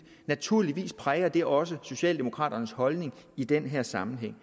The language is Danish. naturligvis præger det også socialdemokraternes holdning i den her sammenhæng